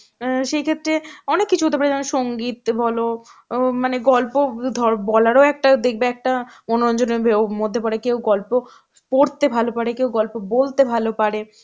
অ্যাঁ সেইক্ষেত্রে অনেক কিছু হতে পারে যেমন সঙ্গীত বলো অ্যাঁ মানে গল্প ধর~ বলারও একটা দেখবে একটা মনোরঞ্জনের ভেও মধ্যে পরে. কেউ গল্প পড়তে ভালো পারে, কেউ গল্প বলতে ভালো পারে,